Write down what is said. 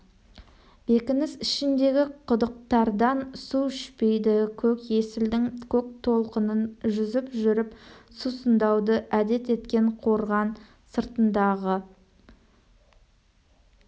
бекініс ішіндегі құдықтардан су ішпейді көк есілдің көк толқынын жүзіп жүріп сусындауды әдет еткен қорған сыртындағы